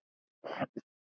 Rok, hann er algjört æði.